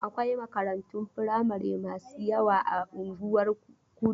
Akwai makarantun firamari masu yawa a unguwar Kudu.